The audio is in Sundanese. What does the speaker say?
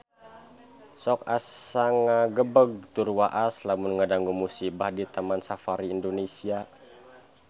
Sok asa ngagebeg tur waas lamun ngadangu musibah di Taman Safari Indonesia